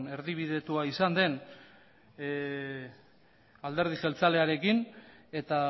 erdibidetua izan den alderdi jeltzalearekin eta